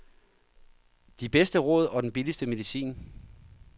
De bedste råd og den billigste medicin.